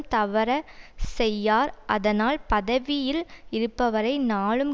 தவற செய்யார் அதனால் பதவியில் இருப்பவரை நாளும்